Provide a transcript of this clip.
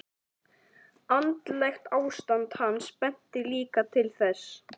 Andlegt ástand hans benti líka til þess.